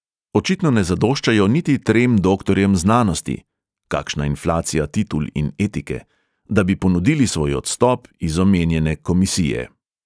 Očitno ne zadoščajo niti trem doktorjem znanosti (kakšna inflacija titul in etike!), da bi ponudili svoj odstop iz omenjene komisije.